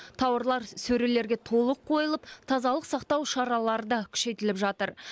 тауарлар сөрелерге толық қойылып тазалық сақтау шаралары да күшейтіліп жатыр